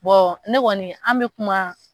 ne kɔni an bɛ kuma.